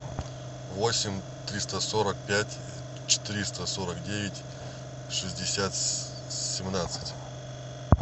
восемь триста сорок пять триста сорок девять шестьдесят семнадцать